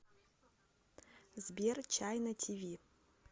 сбер чайна ти ви